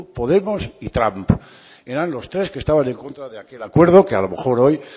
podemos y trump eran los tres que estaban en contra de aquel acuerdo que a lo mejor hoy